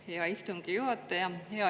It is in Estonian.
Aitäh, hea istungi juhataja!